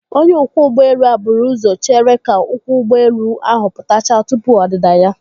Onye ọkwọ ụgbọelu buru ụzọ chere ka ụkwụ ụgbọelu ahụ pụtachaa tupu ọdịda ya.